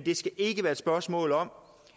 det skal ikke være et spørgsmål om